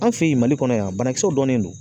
An fɛ yen mali kɔnɔ yan banakisɛw dɔnnen don